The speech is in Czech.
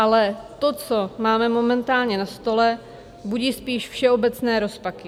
Ale to, co máme momentálně na stole, budí spíš všeobecné rozpaky.